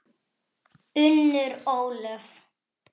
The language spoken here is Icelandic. Unnur Ólöf.